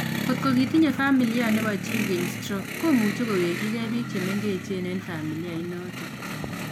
Kot ko kitinye familia nebo chi keny stroke, komuche kowekyikei biik chemengech en familia inotok